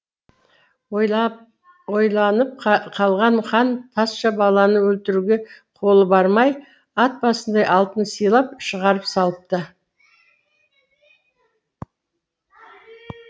ойланып қалған хан тазша баланы өлтіруге қолы бармай ат басындай алтын сыйлап шығарып салыпты